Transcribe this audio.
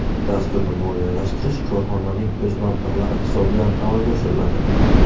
Dasturni moliyalashtirish korxonaning o‘z mablag‘lari hisobidan amalga oshiriladi.